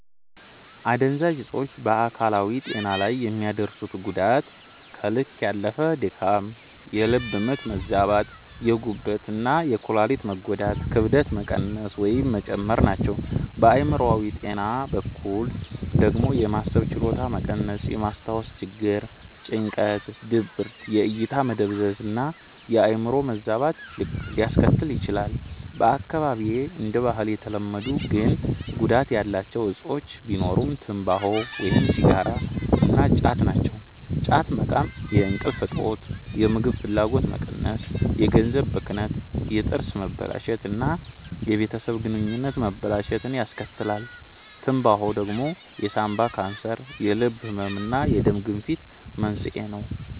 አደንዛዥ እጾች በአካላዊ ጤና ላይ የሚያደርሱት ጉዳት ከልክ ያለፈ ድካም፣ የልብ ምት መዛባት፣ የጉበት እና የኩላሊት መጎዳት፣ ክብደት መቀነስ ወይም መጨመር ናቸው። በአእምሮአዊ ጤና በኩል ደግሞ የማሰብ ችሎታ መቀነስ፣ የማስታወስ ችግር፣ ጭንቀት፣ ድብርት፣ የእይታ መደብዘዝ እና የአዕምሮ መዛባት ሊያስከትል ይችላል። በአካባቢዬ እንደ ባህል የተለመዱ ግን ጉዳት ያላቸው እጾች ቢኖሩ ትምባሆ (ሲጋራ) እና ጫት ናቸው። ጫት መቃም የእንቅልፍ እጦት፣ የምግብ ፍላጎት መቀነስ፣ የገንዘብ ብክነት፣ የጥርስ መበላሸት እና የቤተሰብ ግንኙነት መበላሸትን ያስከትላል። ትምባሆ ደግሞ የሳንባ ካንሰር፣ የልብ ህመም እና የደም ግፊት መንስኤ ነው።